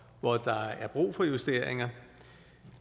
hvor der er brug for justeringer